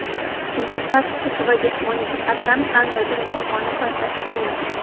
Unda taktik va jismoniy jihatdan qandaydir muammoni payqash qiyin.